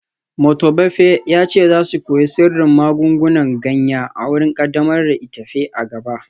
Motobafe ya ce za su koyi sirrin magungunan ganya a wurin kaddamar da itefa a gaba